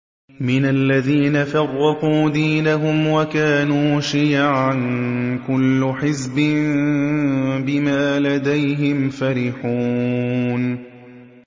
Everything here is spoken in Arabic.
مِنَ الَّذِينَ فَرَّقُوا دِينَهُمْ وَكَانُوا شِيَعًا ۖ كُلُّ حِزْبٍ بِمَا لَدَيْهِمْ فَرِحُونَ